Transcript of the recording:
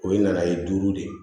O ye nana ye duuru de ye